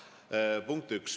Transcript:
See on punkt üks.